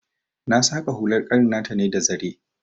Na saƙa hular ƙanin ne ta da zare.